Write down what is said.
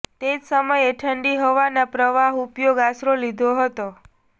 તે જ સમયે ઠંડી હવાના પ્રવાહ ઉપયોગ આશરો લીધો હતો